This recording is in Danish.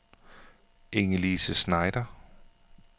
Inge-Lise Schneider